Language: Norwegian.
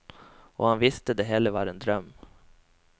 Og han visste det hele var en drøm.